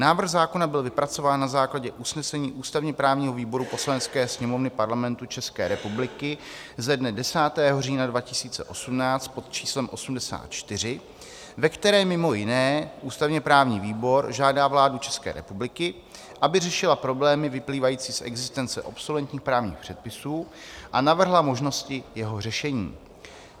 Návrh zákona byl vypracován na základě usnesení ústavně-právního výboru Poslanecké sněmovny Parlamentu České republiky ze dne 10. října 2018 pod číslem 84, ve které mimo jiné ústavně-právní výbor žádá vládu České republiky, aby řešila problémy vyplývající z existence obsoletních právních předpisů a navrhla možnosti jeho řešení.